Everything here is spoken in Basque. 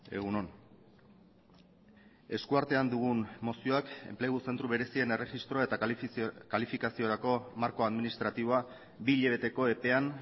egun on eskuartean dugun mozioak enplegu zentro berezien erregistroa eta kalifikaziorako marko administratiboa bi hilabeteko epean